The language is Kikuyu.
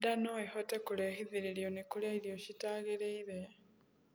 ndaa noĩhote kurehithirio ni kurĩa irio citagiriire